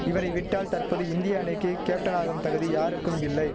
இவரை விட்டால் தற்போது இந்திய அணிக்கிக் கேப்டனாகும் தகுதி யாருக்கும் இல்லை